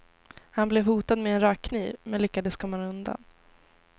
Han blev hotad med en rakkniv, men lyckades komma undan.